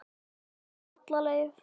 Mamma fer alla leið.